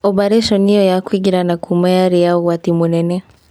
Obarĩconi ĩyo ya kũingĩra na kuuma yarĩ ya ũgwati mũnene.